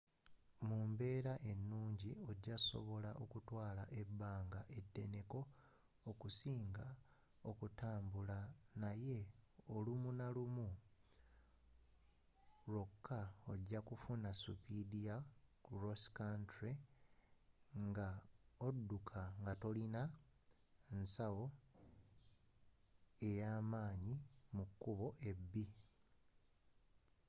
mu mbeera ennungi ojakusobola okutwaala ebbanga eddeneko okusinga okutambula naye lumu nalumu lwoka ojjakufuna spiidi ya cross country nga obuuka nga tolina nsawo ey'amaanyi mu kubo ebbi